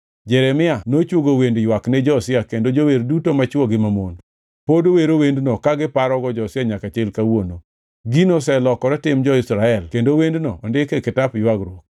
Jeremia nochwogo wend ywak ni Josia kendo jower duto machwo gi mamon pod wero wendno ka giparogo Josia nyaka chil kawuono. Gino oselokore tim jo-Israel kendo wendno ondik e kitap Ywagruok.